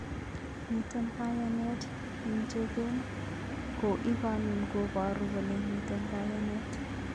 Miten kayanet eng chegen, ko igunon koparur kole miten kayanet.